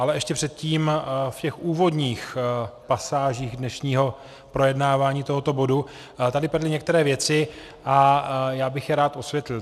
Ale ještě předtím v těch úvodních pasážích dnešního projednávání tohoto bodu tady padly některé věci a já bych je rád osvětlil.